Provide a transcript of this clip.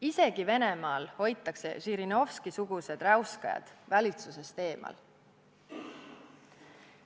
Isegi Venemaal hoitakse Žirinovski-sugused räuskajad valitsusest eemal.